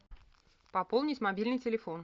пополнить мобильный телефон